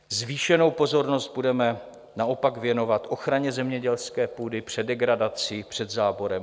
Zvýšenou pozornost budeme naopak věnovat ochraně zemědělské půdy před degradací, před záborem.